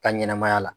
Ka ɲɛnɛmaya la